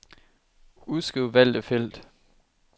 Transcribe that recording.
Udskriv valgte felt.